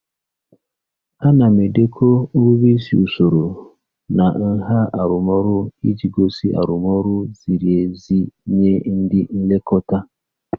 Ana m edekọ nrube isi usoro na nha arụmọrụ iji gosi arụmọrụ ziri ezi nye ndị nlekọta.